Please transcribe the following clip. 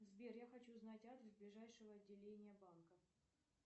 сбер я хочу узнать адрес ближайшего отделения банка